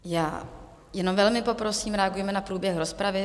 Já jenom velmi poprosím, reagujme na průběh rozpravy.